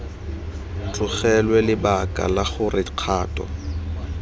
tlogelwe lebaka la gore kgato